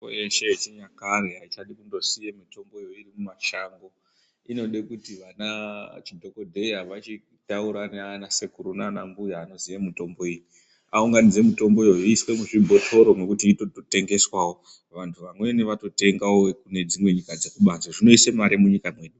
Mitombo yeshe yechinyakae haichadi kusiya mitomboyo iri mumashango inode kuti vana chidhogodheya vachitaura nanasekuru nana mbuya anoziya mitombo iyi. Aunganidze mitomboyo iswa muzvibhotoro nekuti inotengeswavo vantu vamweni vatotengavo vekunyika dzekubanze, zvinoise mare munyika mwedu.